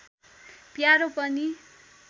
प्यारो पनि